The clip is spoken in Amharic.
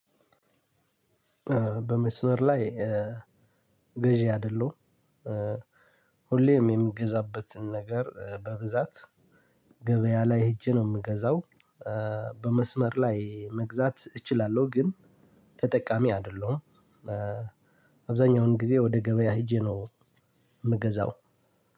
በመስመር ላይ ገዢ አይደለሁም። ሁሌም የምገዛበትን ነገር በብዛት ገበያ ላይ ሄጄ ነው የምገዛው። በመስመር ላይ መግዛት እችላለሁ ግን ተጠቃሚ አይደለሁም። አብዛኛውን ጊዜ ወደ ገበያ ሄጄ ነው የምገዛው።